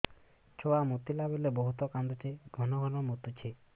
ଛୁଆ ମୁତିଲା ବେଳେ ବହୁତ କାନ୍ଦୁଛି ଘନ ଘନ ମୁତୁଛି